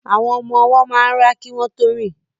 Àwọn ọmọ ọwọ́ máa ń rá kí wọ́n tó rìn